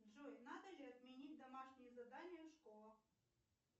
джой надо ли отменить домашние задания в школах